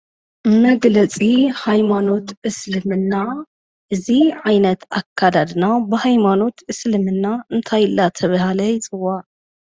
መግለፂ ሃይማኖት እስልምና እዚ ዓይነት ኣከዳድና ብሃይማኖት እስልምና እንታይ እናተበሃለ ይፅዋዕ?